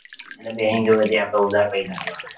એટલે bank જોડે આપડે થી ઉધાર પૈસા લેવાના એમ